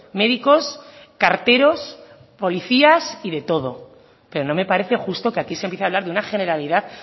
médicos carteros policías y de todo pero no me parece justo que aquí se empiece a hablar de una generalidad